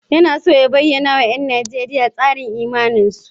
Yana so ya bayyana wa ‘yan Nijeriya tsarin imaninsu.